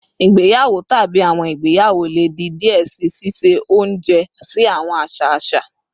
Igbeyawo tabi awọn igbeyawo le di diẹ sii, ṣiṣe ounjẹ si awọn aṣa aṣa